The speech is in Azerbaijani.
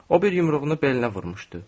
O bir yumruğunu belinə vurmuşdu.